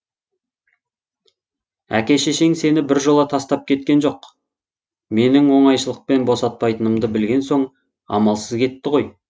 әке шешең сені біржола тастап кеткен жоқ менің оңайшылықпен босатпайтынымды білген соң амалсыз кетті ғой